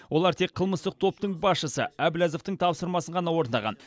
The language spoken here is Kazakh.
олар тек қылмыстық топтың басшысы әбләзовтің тапсырмасын ғана орындаған